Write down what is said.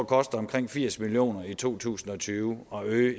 koster omkring firs million kroner i to tusind og tyve at øge